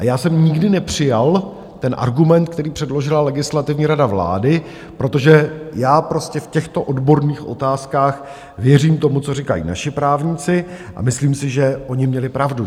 A já jsem nikdy nepřijal ten argument, který předložila Legislativní rada vlády, protože já prostě v těchto odborných otázkách věřím tomu, co říkají naši právníci, a myslím si, že oni měli pravdu.